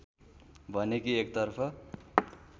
भने कि एकतर्फ